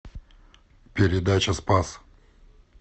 передача спас